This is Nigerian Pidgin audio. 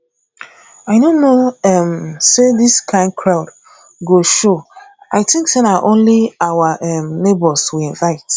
i no know um say dis kin crowd go show i think say na only our um neighbours we invite